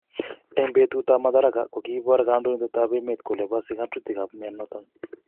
En petut ap Madaraka ko kiipor Kondoindet ap emet kole pose ng'otutik ap mionoton.